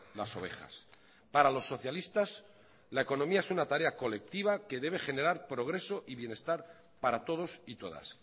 las ovejas para los socialistas la economía es una tarea colectiva que debe generar progreso y bienestar para todos y todas